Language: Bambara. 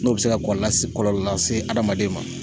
N'o bɛ se ka kɔl lasi kɔlɔllɔ lase adamaden ma.